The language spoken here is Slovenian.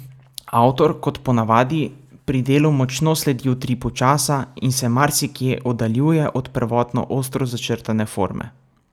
Avtor, kot po navadi, pri delu močno sledi utripu časa in se marsikje oddaljuje od prvotno ostro začrtane forme.